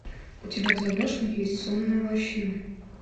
у тебя в загашнике есть сонная лощина